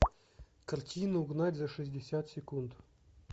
картина угнать за шестьдесят секунд